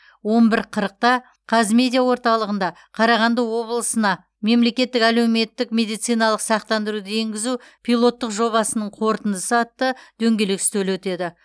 он бір қырықта қазмедиа орталығында қарағанды облысына мемлекеттік әлеуметтік медициналық сақтандыруды енгізу пилоттық жобасының қорытындысы атты дөңгелек үстел өтеді